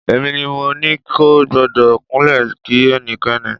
Èmi ni mo ní kò gbọ́dọ̀ kúnlẹ̀ kí ẹnikẹ́ni.